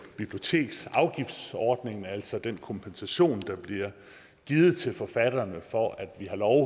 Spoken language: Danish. biblioteksafgiftsordningen altså den kompensation der bliver givet til forfatterne for at vi har lov